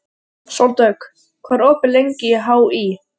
Sóldögg, hvað er opið lengi í HÍ?